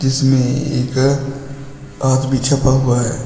इसमें एक आदमी छपा हुआ है।